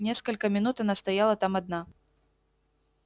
несколько минут она стояла там одна